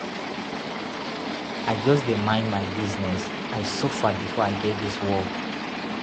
I just dey mind my business, I suffer before I get dis work.